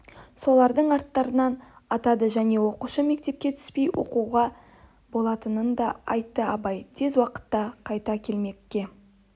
солардың аттарын атады және оқушы мектепке түспей оқуға болатынын да айтты абай тез уақытта қайта келмекке